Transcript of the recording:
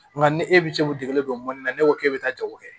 Nka ni e bɛ se k'i dege don mɔnni na ne ko k'e bɛ taa jago kɛ